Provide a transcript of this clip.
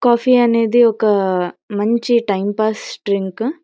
Coffee అనేది ఒక మంచి టైం పాస్ డ్రింక్ .